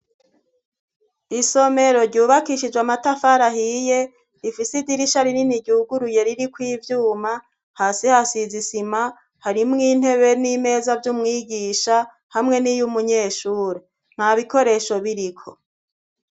Isomero ryubakishije amatafara ahiye rifise idirisha rinini ryuguruye ririko ivyuma, hasi hasize isima ; harimwo intebe n'imeza vy'umwigisha hamwe n'iy'umunyeshuri; nta bikoresho biriko.